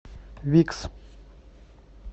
викс